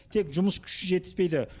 тек жұмыс күші жетіспейді